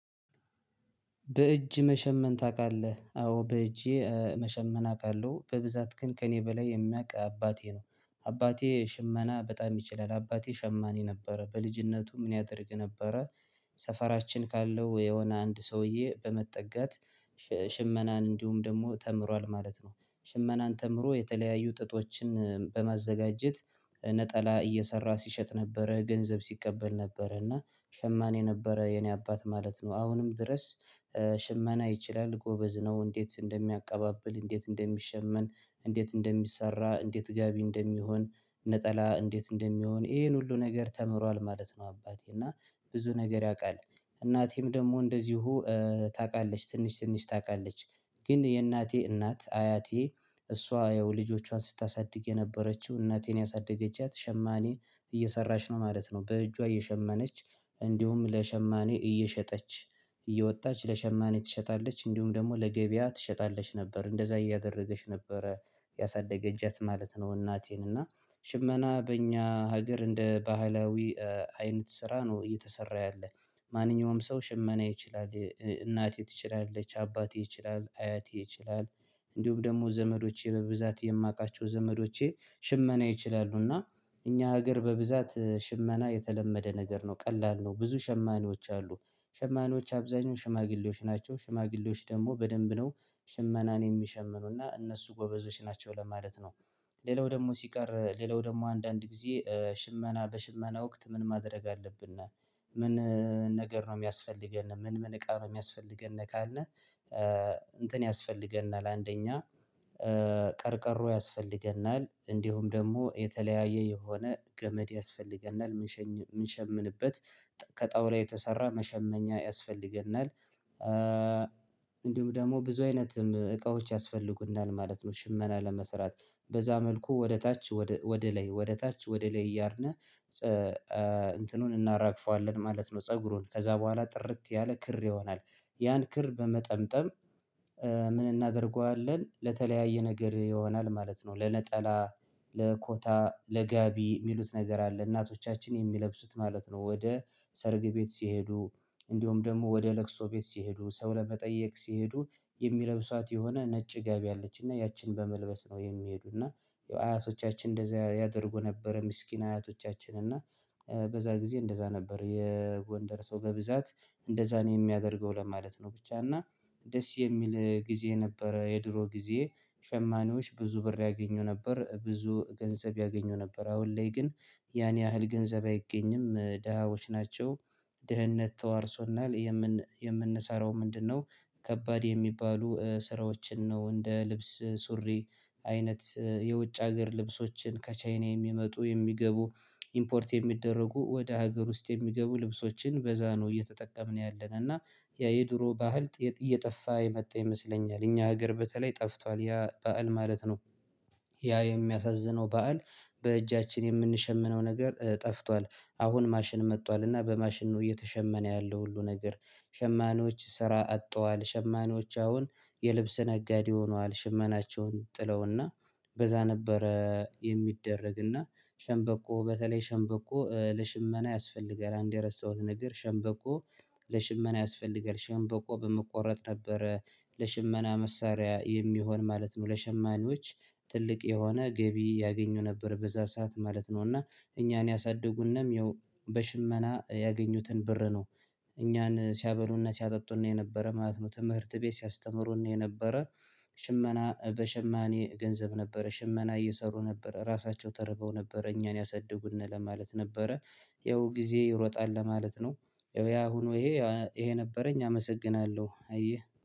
በእጅ መሸመን ታቃለህ አዎ በእጄ መሸመን አውቃለሁ በብዛት ግን ከእኔ በላይ የሚያውቅ አባቴ ነው አባቴ ሽመና በጣም ይችላል አባቴ ሸማኔ ነበረ በልጅነቱ ምን ያደርግ ነበረ? ሰፈራችን ካለው የሆነ አንድ ሰውዬ በመጠጋት ሽመናን እንዲሁም ደግሞ ተምሯል ማለት ነው። ሽመናን ተምሮ የተለያዩ ጥጦችን በማዘጋጀት ነጠላ እየሰራ ሲሸጥ ነበረ ገንዘብ ሲቀበል ነበረ እና ሸማኔ ነበረ የኔ አባት ማለት ነው። አሁንም ድረስ ሽመና ይችላል ጎበዝ ነው። እንዴት እንደሚያቀባብል እንዴት እንደሚሸመን እንዴት እንደሚሰራ እንዴት ጋቢ እንደሚሆን ነጠላ እንዴት እንደሚሆን ይሄን ሁሉ ነገር ተምሯል ማለት ነው። አባቴ እና ብዙ ነገር ያቃል። እናቴም ደግሞ እንደዚሁ ታቃለች ትንሽ ትንሽ ታቃለች። ግን የእናቴ እናት አያቴ እሷ ያው ልጆቿን ስታሳድግ የነበረችው እናቴን ያሳደገቻት ሸማኔ። እየሰራሽ ነው ማለት ነው በእጇ እየሸመነች እንዲሁም ለሸማኔ እየሸጠች እየወጣች ለሸማኔ ትሸጣለች እንዲሁም ደግሞ ለገበያ ትሸጣለች ነበር እንደዛ እያደረገች ነበረ ያሳደገቻት ማለት ነው። እናቴን እና ሽመና በእኛ ሀገር እንደ ባህላዊ አይነት ስራ ነው እየተሰራ ያለ። ማንኛውም ሰው ሽመና ይችላል እናቴ ትችላለች አባቴ ይችላል አያቴ ይችላል። እንዲሁም ደግሞ ዘመዶቼ በብዛት የማቃቸው ዘመዶቼ ሽመና ይችላሉ። እና እኛ ሀገር በብዛት ሽመና የተለመደ ነገር ነው ቀላል ነው ብዙ ሸማኔዎች አሉ። ሸማኔዎች አብዛኛው ሽማግሌዎች ናቸው ሽማግሌዎች ደግሞ በደንብ ነው ሽመናን የሚሸምኑና እነሱ ጎበዞች ናቸው ለማለት ነው። ሌላው ደግሞ ሲቀር ሌላው ደግሞ አንዳንድ ጊዜ ሽመና በሽመና ወቅት ምን ማድረግ አለብን? ምን ነገር ነው ሚያስፈልገን ምን ምን እቃ ነው ሚያስፈልገን? ካልነህ እንትን ያስፈልገናል አንደኛ ቀርቀሮ ያስፈልገናል እንዲሁም ደግሞ የተለያየ የሆነ ገመድ ያስፈልገናል። ምንሸምንበት ከጣውላ የተሰራ መሸመኛ ያስፈልገናል። እንዲሁም ደግሞ ብዙ አይነት እቃዎች ያስፈልጉናል ማለት ነው። ሽመና ለመስራት በዛ መልኩ ወደ ታች ወደ ላይ ወደ ታች ወደ ላይ እያረግነ እንትኑን እናራግፈዋለን ማለት ነው። ፀጉሩን ከዛ በኋላ ጥርት ያለ ክር ይሆናል። ያን ክር በመጠምጠም ምን እናደርገዋለን ለተለያየ ነገር ይሆናል ማለት ነው። ለነጠላ ለኮታ ለጋቢ ሚሉት ነገር አለ እናቶቻችን የሚለብሱት ማለት ነው። ወደ ሰርግ ቤት ሲሄዱ እንዲሁም ደግሞ ወደ ለቅሶ ቤት ሲሄዱ ሰው ለመጠየቅ ሲሄዱ የሚለብሷት የሆነ ነጭ ገቢ አለችና ያችን በመልበስ ነው የሚሄዱና። የአያቶቻችን እንደዛ ያደርጉ ነበር ምስኪን አያቶቻችን እና በዛ ጊዜ እንደዛ ነበር። የጎንደር ሰው በብዛት እንደዛን ነው የሚያደርገው ለማለት ነው። ብቻ እና ደስ የሚል ጊዜ ነበረ የድሮ ጊዜ። ሸማኔዎች ብዙ ብር ያገኙ ነበር ብዙ ገንዘብ ያገኙ ነበር አሁን ላይ ግን ያን ያህል ገንዘብ አይገኝም ደሃዎች ናቸው። ድህነት ተዋርሶናል። የምንሰራው ምንድነው? ከባድ የሚባሉ ስራዎችን ነው እንደ ልብስ ሱሪ አይነት የውጭ ሀገር ልብሶችን ከቻይና የሚመጡ የሚገቡ ኢምፖርት የሚደረጉ ወደ ሀገር ውስጥ የሚገቡ ልብሶችን በዛ ነው እየተጠቀምን ያለነ እና ያ የድሮ ባህል። እየጠፋ የመጣ ይመስለኛል እኛ ሀገር በተለይ ጠፍቷል ያ በዓል ማለት ነው። ያ የሚያሳዝነው በዓል በእጃችን የምንሸምነው ነገር ጠፍቷል። አሁን ማሽን መጥቷል እና በማሽኑ እየተሸመነ ያለው ሁሉ ነገር። ሸማኔዎች ስራ አጠዋል ሸማኖች አሁን የልብስ ነጋዴ ሆኗል። ሽመናቸውን ጥለውና በዛ ነበረ የሚደረግና ሸንበቆ በተለይ ሸንበቆ ለሽመና ያስፈልጋል አንድ የረሳሁት ነገር ሸምበቆ። ለሽመና ያስፈልጋል ሸምበቆ በመቆረጥ ነበረ ለሽመና መሳሪያ የሚሆን ማለት ነው። ለሸማኔዎች ትልቅ የሆነ ገቢ ያገኙ ነበር በዛ ሰዓት ማለት ነው። እና እኛን ያሳድጉነም ያው በሽመና ያገኙትን ብር ነው። እኛን ሲያበሉና ሲያጠጡና የነበረ ማለት ነው ትምህርት ቤት ሲያስተምሩን ነው የነበረ። ሽመና በሽማኔ ገንዘብ ነበረ ሽመና እየሰሩ ነበር ራሳቸው ተርበው ነበር እኛን ያሳድጉና ለማለት ነበረ። ይኸው ጊዜ ይሮጣል ለማለት ነው። ያ አሁን ይሄ ይሄ ነበረኝ አመሰግናለሁ። አየህ